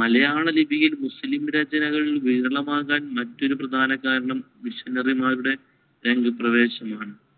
മലയാളലിപിയിൽ മുസ്ലീം രചനകൾ വിരളമാകാൻ മറ്റൊരു പ്രധാനകാരണം missionary മാരുടെ രംഗപ്രവേശമാണ്.